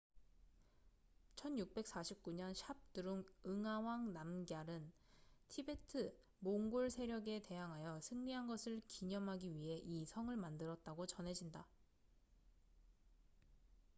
1649년 샵드룽 응아왕 남걀은 티베트-몽골 세력에 대항하여 승리한 것을 기념하기 위해 이 성을 만들었다고 전해진다